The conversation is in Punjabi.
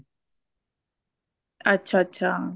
ਅੱਛਾ ਅੱਛਾ